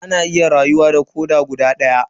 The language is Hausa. Ana iya rayuwa da koda guda daya.